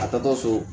A taatɔ so